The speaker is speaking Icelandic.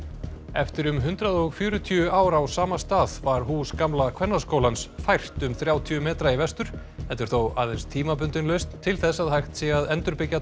eftir um hundrað og fjörutíu ár á sama stað var hús gamla Kvennaskólans fært um þrjátíu metra í vestur þetta er þó aðeins tímabundin lausn til þess að hægt sé að endurbyggja